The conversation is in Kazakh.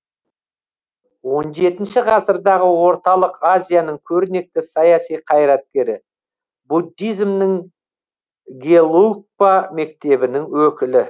он жетінші ғасырдағы орталық азияның көрнекті саяси қайраткері буддизмнің гелугпа мектебінің өкілі